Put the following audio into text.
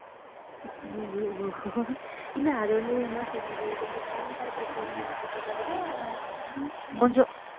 ஐயையோ இல்லை அது வந்து என்ன சொல்றது கொஞ்சம் talent ஆ இருக்கிற பிள்ளைங்கன்றதை விட கொஞ்சம்